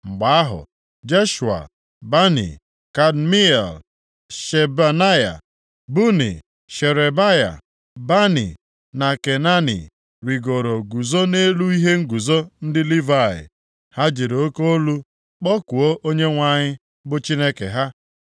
Mgbe ahụ Jeshua, Bani, Kadmiel, Shebanaya, Buni, Sherebaya, Bani na Kenani rigoro guzo nʼelu ihe nguzo ndị Livayị. Ha jiri oke olu kpọkuo Onyenwe anyị bụ Chineke ha.